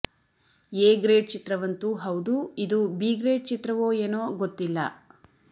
A grade ಚಿತ್ರವಂತೂ ಹೌದು ಇದು ಬಿ ಗ್ರೇಡ್ ಚಿತ್ರವೋ ಏನೋ ಗೊತ್ತಿಲ್ಲ